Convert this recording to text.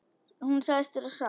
Hún sagðist vera sátt.